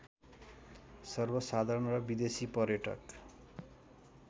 सर्वसाधारण र विदेशी पर्यटक